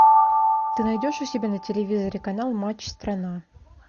ты найдешь у себя на телевизоре канал матч страна